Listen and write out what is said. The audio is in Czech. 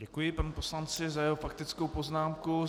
Děkuji panu poslanci za jeho faktickou poznámku.